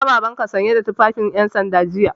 Na ga Babanka sanye da tufafin 'yansanda jiya.